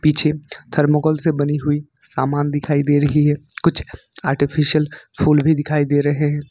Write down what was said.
Thermocol से बनी हुई समान दिखाई दे रही है कुछ आर्टिफिशियल फूल भी दिखाई दे रहे हैं।